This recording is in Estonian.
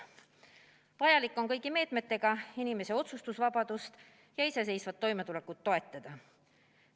Vaja on kõigi meetmetega inimese otsustusvabadust ja iseseisvat toimetulekut toetada.